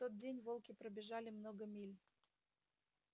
в тот день волки пробежали много миль